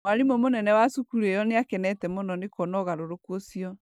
Mwarimũ mũnene wa cukuru ĩyo nĩ akenete mũno nĩ kuona ũgarũrũku ũcio.